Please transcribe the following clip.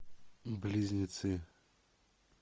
близнецы